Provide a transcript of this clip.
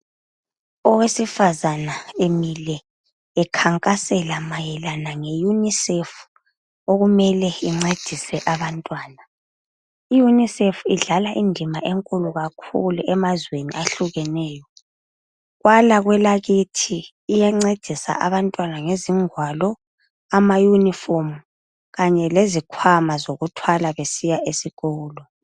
Owesifazana emile ekhankasela mayelana nge UNICEF okumele incedise abantwana. I-UNICEF idlala indima enkulu kakhulu emazweni ahlukeneyo. Kwala kwelakithi iyancedisa abantwana ngezingwalo, amayunifomu Kanye lezikhwama zokuthwala nxa besiya esikolo.